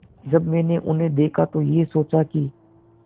जब मैंने उन्हें देखा तो ये सोचा कि